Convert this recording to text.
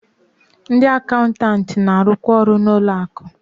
Ndị akaụntanti na-arụkwa ọrụ n'ụlọ akụ